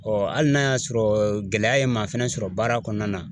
hali n'a y'a sɔrɔ gɛlɛya ye maa fɛnɛ sɔrɔ baara kɔnɔna na